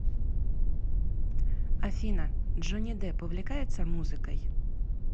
афина джонни депп увлекается музыкой